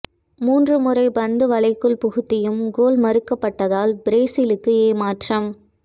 மூன்று முறை பந்தை வலைக்குள் புகுத்தியும் கோல் மறுக்கப்பட்டதால் பிரேசிலுக்கு ஏமாற்றம்